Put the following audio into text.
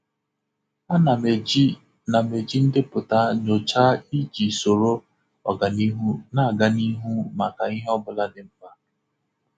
A na m eji na m eji ndepụta nyocha iji soro ọganihu na-aga n'ihu maka ihe ọ bụla dị mkpa.